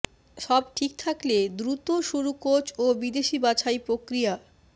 সব ঠিক থাকলে দ্রুত শুরু কোচ ও বিদেশি বাছাই প্রক্রিয়া